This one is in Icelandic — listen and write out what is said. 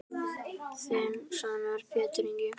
Þinn sonur Pétur Ingi.